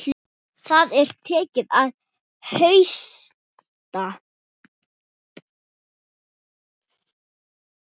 Það er tekið að hausta.